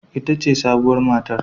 Ita ce sabuwar matar